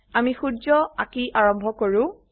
আমি সূৰ্য আঁকি আৰম্ভ কৰো